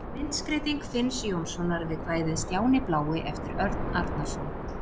Myndskreyting Finns Jónssonar við kvæðið Stjáni blái eftir Örn Arnarson.